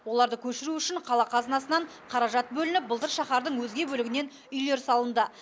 оларды көшіру үшін қала қазынасынан қаражат бөлініп былтыр шаһардың өзге бөлігінен үйлер салынды